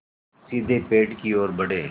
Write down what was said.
वे सीधे पेड़ की ओर बढ़े